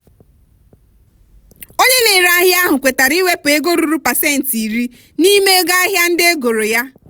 onye na-ere ahịa ahụ kwetara iwepụ ego ruru pasentị iri n'ime ego ahịa ndị egoro ya.